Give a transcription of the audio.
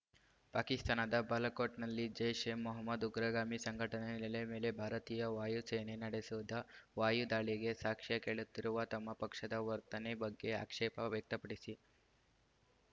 ಪಾಕಿಸ್ತಾನದ ಬಾಲಕೋಟ್ ನಲ್ಲಿ ಜೈಶ್ಎಮೊಹ್ಮದ್ ಉಗ್ರಗಾಮಿ ಸಂಘಟನೆ ನೆಲೆ ಮೇಲೆ ಭಾರತೀಯ ವಾಯು ಸೇನೆ ನಡೆಸಿದ ವಾಯು ದಾಳಿಗೆ ಸಾಕ್ಷ್ಯ ಕೇಳುತ್ತಿರುವ ತಮ್ಮ ಪಕ್ಷದ ವರ್ತನೆ ಬಗ್ಗೆ ಆಕ್ಷೇಪ ವ್ಯಕ್ತಪಡಿಸಿ